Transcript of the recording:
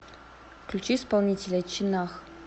включи исполнителя чинах